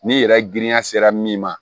Ni yɛrɛ girinya sera min ma